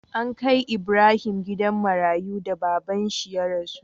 An kai Ibrahim gidan marayu da babban shi ya rasu